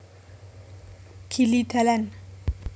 Gili dalan